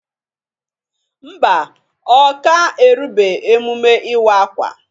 Ḿbà, Ọ ka erube emume iwa-akwa.